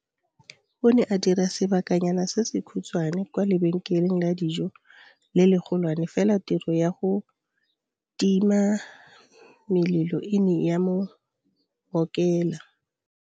O ne a dira sebakanyana se se khutshwane kwa lebenkeleng la dijo le legolwane, fela tiro ya go timamelelo e ne ya mo ngokela.